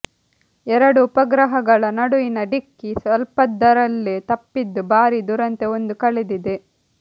ಎರಡು ಉಪಗ್ರಹಗಳ ನಡುವಿನ ಡಿಕ್ಕಿ ಸ್ವಲ್ಪದರಲ್ಲೇ ತಪ್ಪಿದ್ದು ಭಾರೀ ದುರಂತ ಒಂದು ಕಳೆದಿದೆ